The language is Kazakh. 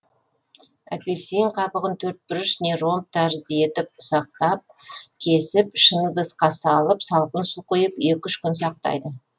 апельсин қабығын төртбұрыш не ромб тәрізді етіп ұсақтал кесіп шыны ыдысқа салып салқын су құйып екі үш күн сақтайды